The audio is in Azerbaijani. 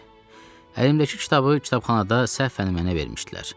Əlimdəki kitabı kitabxanada səhvən mənə vermişdilər.